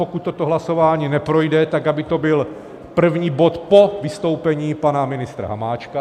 Pokud toto hlasování neprojde, tak aby to byl první bod po vystoupení pana ministra Hamáčka.